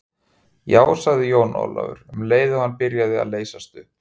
Já, sagði Jón Ólafur, um leið og hann byrjaði að leysast upp.